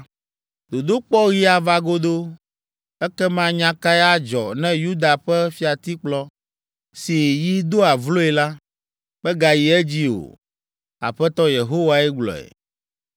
“ ‘Dodokpɔɣi ava godoo. Ekema nya kae adzɔ ne Yuda ƒe fiatikplɔ, si yi doa vloe la, megayi edzi o? Aƒetɔ Yehowae gblɔe.’